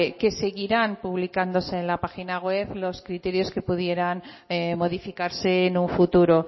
que seguirán publicándose en la página web los criterios que pudieran modificarse en un futuro